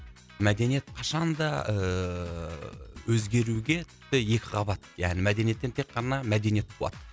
мәдениет қашан да ыыы өзгеруге тіпті екі қабат яғни мәдениеттен тек қана мәдениет туады